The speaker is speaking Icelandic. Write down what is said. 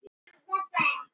Nei, svaraði hann.